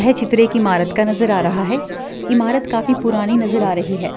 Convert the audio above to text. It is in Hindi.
चित्र एक ईमारत का नज़र आ रहा है ईमारत काफी पुरानी नज़र आ रही है।